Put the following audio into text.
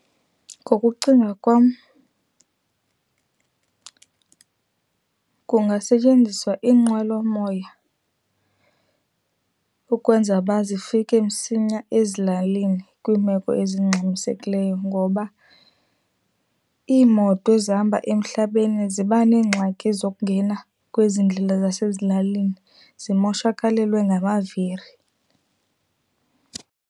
Ngokucinga kwam, kungasetyenziswa iinqwelomoya ukwenza uba zifike msinya ezilalini kwiimeko ezingxamisekileyo ngoba iimoto ezihamba emhlabeni ziba neengxaki zokungena kwezi ndlela zasezilalini zimoshakalelwe ngamaviri.